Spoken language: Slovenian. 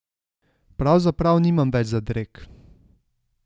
Pravzaprav nimam več zadreg.